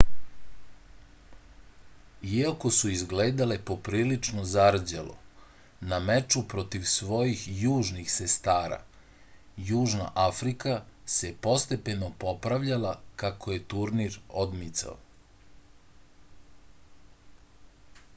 iako su izgledale poprilično zarđalo na meču protiv svojih južnih sestara južna afrika se postepeno popravljala kako je turnir odmicao